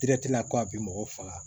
ko a bɛ mɔgɔ faga